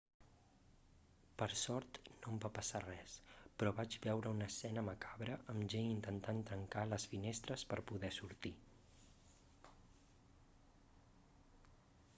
per sort no em va passar res però vaig veure una escena macabra amb gent intentant trencar les finestres per poder sortir